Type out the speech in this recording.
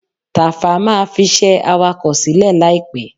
Tàfá máa fiṣẹ́ awakọ̀ sílẹ̀ láìpẹ́.